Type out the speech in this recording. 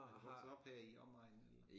Er du vokset op her i omegnen eller?